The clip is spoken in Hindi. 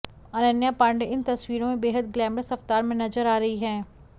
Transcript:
अनन्या पांडे इन तस्वीरों में बेहद ग्लैमरस अवतार में नजर आ रही हैं